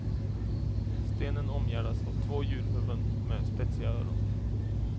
Stenen omgärdas av två djurhuvuden med spetsiga öron.